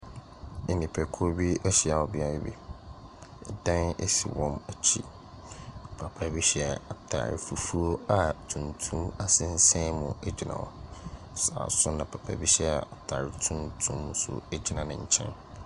Nnipakuo bi ahyia wɔ beaeɛ bi, dan si wɔn akyi. Papa bi hyɛ ataare fufuo a tuntum sensɛn mu gyina hɔ, saa nso na papa hyɛ ataare tuntum gyina ne nkyɛn.